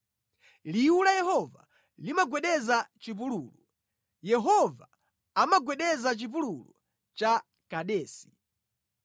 Liwu la Yehova limagwedeza chipululu; Yehova amagwedeza chipululu cha Kadesi.